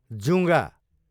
जुँगा